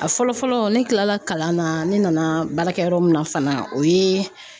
A fɔlɔ fɔlɔ ne kilala kalan na ne nana baarakɛ yɔrɔ min na fana o ye